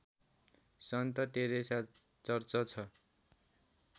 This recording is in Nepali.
सन्त टेरेसा चर्च छ